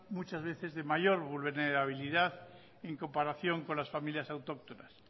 mucha veces de mayo vulnerabilidad en comparación con las familias autóctonas